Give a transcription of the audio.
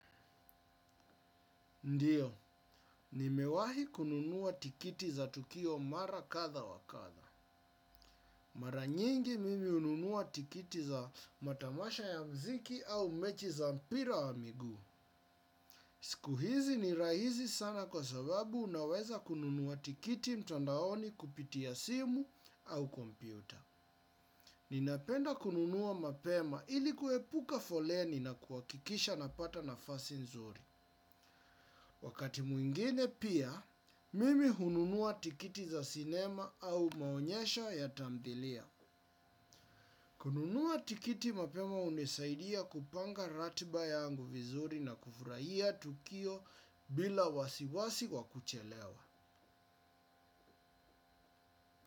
Ndio, nimewahi kununua tikiti za tukio mara kadha wa kadha. Mara nyingi mimi hununua tikiti za matamasha ya mziki au mechi za mpira wa miguu. Siku hizi ni rahisi sana kwa sababu unaweza kununua tikiti mtandaoni kupitia simu au kompyuta. Ninapenda kununua mapema ili kuepuka foleni na kuhakikisha napata nafasi nzuri. Wakati mwingine pia, mimi hununua tikiti za sinema au maonyesho ya tamthilia. Kununua tikiti mapema hunisaidia kupanga ratiba yangu vizuri na kufurahia tukio bila wasiwasi wa kuchelewa.